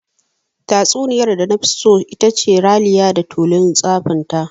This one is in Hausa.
Tatsuniyar da nafi so itace "Raliya da tulun tsafinta".